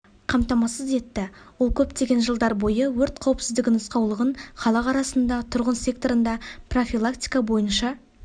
қамтамасыз етті ол көптеген жылдар бойы өрт қауіпсіздігі нұсқаулығын халық арасында тұрғын секторында профилактика бойынша